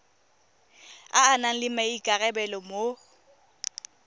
a nang le maikarabelo mo